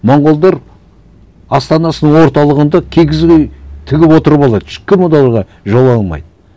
монғолар астанасының орталығында киіз үй тігіп отырып алады ешкім оларға жолай алмайды